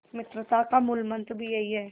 मित्रता का मूलमंत्र भी यही है